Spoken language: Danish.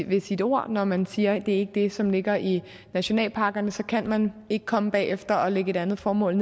ved sit ord når man siger at det ikke er det som ligger i nationalparkerne så kan man ikke komme bagefter og lægge et andet formål